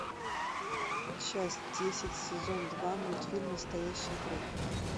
часть десять сезон два мультфильм настоящая кровь